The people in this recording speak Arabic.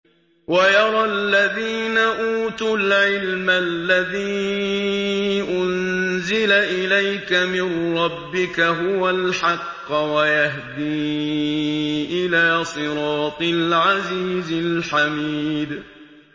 وَيَرَى الَّذِينَ أُوتُوا الْعِلْمَ الَّذِي أُنزِلَ إِلَيْكَ مِن رَّبِّكَ هُوَ الْحَقَّ وَيَهْدِي إِلَىٰ صِرَاطِ الْعَزِيزِ الْحَمِيدِ